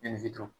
E ni fito